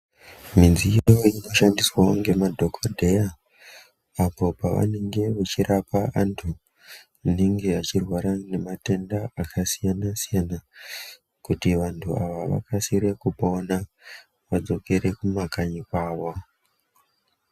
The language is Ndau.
Midziyo inoshandiswawo ngemadhokodheya apo pavanenge vachirape antu anenge achirwara nematenda akasiyana siyana kuti vantu ava vakasire kupona vadzokere kumakanyi kwavo.